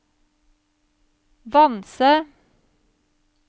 Vanse